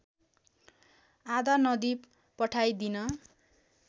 आधा नदी पठाइदिन